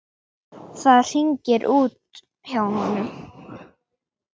Það hringir út hjá honum.